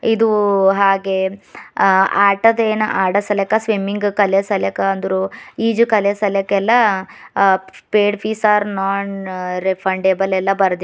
ಇದು ಹಾಗೆ ಅ ಆಟದ ಏನ ಆಡಸಲಾಕ ಸ್ವಿಮ್ಮಿಂಗ್ ಕಲಿಸಲ್ಯಾಕ ಅಂದ್ರು ಈಜು ಕಲಿಸಲ್ಯಾಕೆಲ್ಲಾ ಅ paid fees are non refundable ಎಲ್ಲಾ ಬರೆದಿಂದ್--